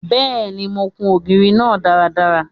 Bẹ́ẹ̀ni, mo kun ògiri náà dáadáa.